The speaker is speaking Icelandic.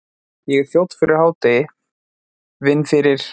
Ég er þjónn fyrir hádegi, vinn fyrir